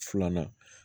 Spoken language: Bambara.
Filanan